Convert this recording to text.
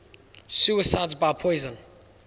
suicides by poison